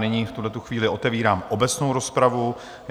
Nyní v tuhle chvíli otevírám obecnou rozpravu.